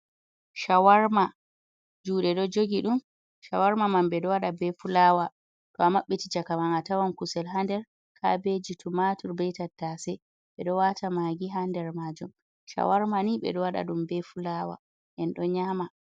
Shawarma juɗe do jogi ɗum, shawarma man ɓe do wada ɓe fulawa, to a mabɓiti cakaman a tawan kusel hader, kabeji, tumatur, ɓei tattase, ɓe ɗo wata magi haɗer majum, shawarma ni ɓeɗo wada ɗum ɓe fulawa, en do nyama.